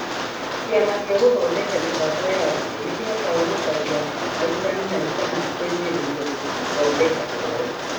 Kĩama gĩa Gũthondeka Mĩbango ya Arutwo nĩ kĩhotaga gũcaria arutani na gĩkamateithĩrĩria gũthondeka ũhoro